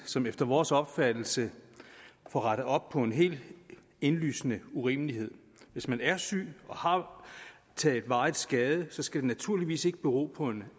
som efter vores opfattelse får rettet op på en helt indlysende urimelighed hvis man er syg og har taget varig skade skal det naturligvis ikke bero på en